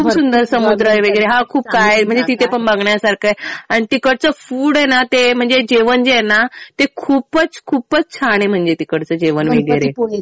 खूप सुंदर समुद्र वगैरे. हा खूप काय आहे. म्हणजे तिथे पण बघण्यासारखं आहे आणि तिकडचं फूड आहे ना म्हणजे जेवण जे आहे ना ते खूपच खूप छान आहे म्हणजे तिकडचं जेवण वगैरे.